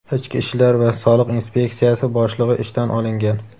ichki ishlar va soliq inspeksiyasi boshlig‘i ishdan olingan.